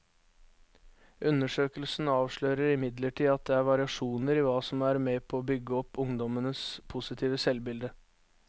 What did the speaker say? Undersøkelsen avslører imidlertid at det er variasjoner i hva som er med på å bygge opp ungdommenes positive selvbilde.